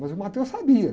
Mas o sabia.